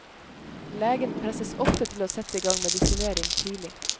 Legen presses ofte til å sette i gang medisinering tidlig.